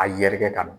A yɛrɛkɛ ka n